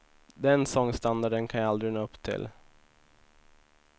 Den sångstandarden kan jag aldrig nå upp till.